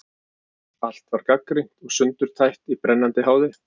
Allt var gagnrýnt og sundurtætt í brennandi háði.